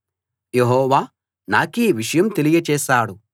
యెహోవా నాకీ విషయం తెలియచేశాడు